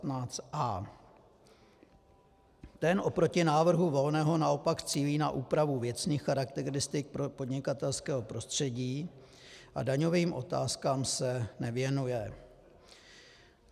Ten oproti návrhu Volného naopak cílí na úpravu věcných charakteristik podnikatelského prostředí a daňovým otázkám se nevěnuje.